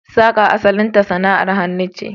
Saka asalinta sana'ar hannu ce.